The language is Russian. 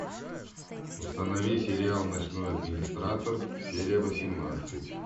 установи сериал ночной администратор серия восемнадцать